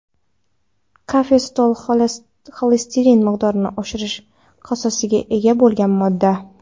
Kafestol xolesterin miqdorini oshirish xossasiga ega bo‘lgan modda.